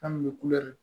An kun bɛ kulɛri